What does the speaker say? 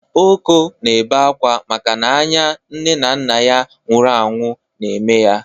Oko na-ebe akwa maka n'anya nne na nna ya nwuru anwu na-eme ya